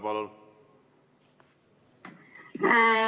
Palun!